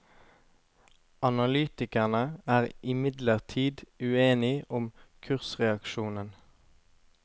Analytikerne er imidlertid uenig om kursreaksjonen.